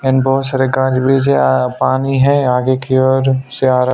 and बहुत सारा पानी हैं आगे की ओर सियारा--